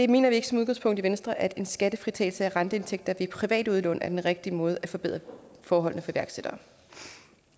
mener ikke som udgangspunkt i venstre at en skattefritagelse af renteindtægter ved privat udlån er den rigtige måde at forbedre forholdene